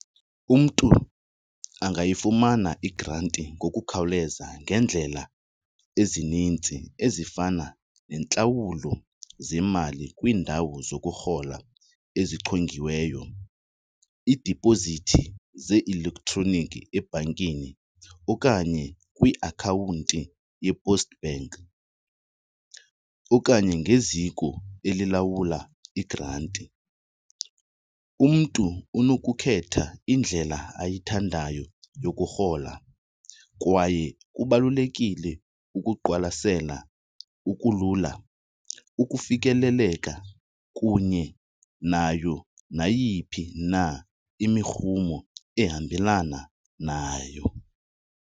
Umntu angayifumana igranti ngokukhawuleza ngeendlela ezininzi ezifana nentlawulo zemali kwiindawo zokurhola ezichongiweyo, iidipozithi ze-elektroniki ebhankini okanye kwiakhawunti yePost Bank okanye ngeziko elilawula igranti. Umntu unokukhetha indlela ayithandayo yokurhola kwaye kubalulekile ukuqwalasela, ukulula, ukufikeleleka kunye nayo nayiphi na imirhumo ehambelana nayo.